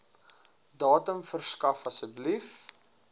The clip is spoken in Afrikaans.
datum verskaf asseblief